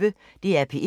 DR P1